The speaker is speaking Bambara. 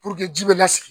ji bɛ lasigi